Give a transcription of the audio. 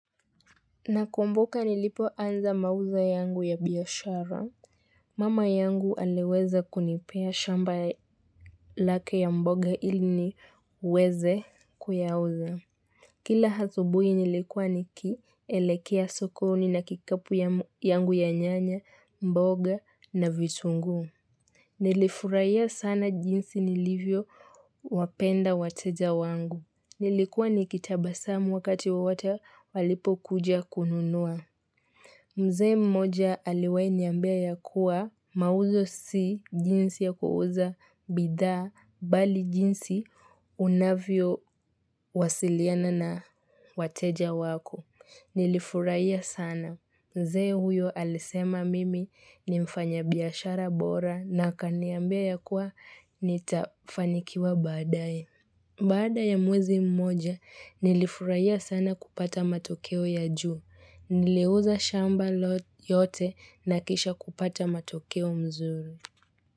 Nakumbuka nilipo anza mauza yangu ya biashara. Mama yangu aliweza kunipea shamba lake ya mboga ili niweze kuyauza. Kila asubuhi nilikuwa nikielekea sokoni na kikapu yangu ya nyanya, mboga na vitunguu. Nilifurahia sana jinsi nilivyo wapenda wateja wangu. Nilikuwa nikitabasamu wakati wowote walipo kuja kununua. Mzee mmoja aliwahi niambia ya kuwa mauzo si jinsi ya kuuza bidhaa bali jinsi unavyo wasiliana na wateja wako. Nilifurahia sana. Mzee huyo alisema mimi ni mfanya biashara bora na kaniambia ya kuwa nitafanikiwa baadae. Baada ya mwezi mmoja, nilifurahia sana kupata matokeo ya juu. Niliuza shamba yote nakisha kupata matokeo mzuri.